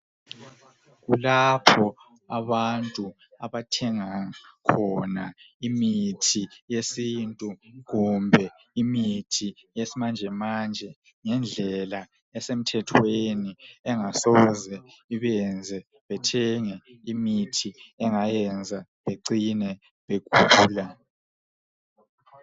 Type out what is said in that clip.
Kulapho abantu abathenga khona imithi yesintu kumbe imithi yesimanjemanje ngendlela esemthethweni engasoze ibenze bethenge imithi engayenza becine begula.